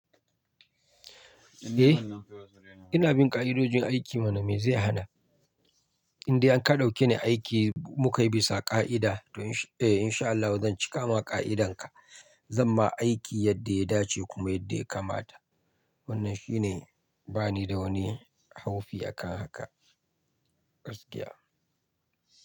Eh, ina bin ƙa'idojin aiki. Mana mai zai hana? In dai an ka ɗauke ni aiki muka yi bisa ƙa'ida to insha Allahu zan cika ma ƙa'idanka. Zan ma aiki yadda ya dace kuma yadda ya kamata. Wannan shine, bani da wani haufi akan haka. Gaskiya.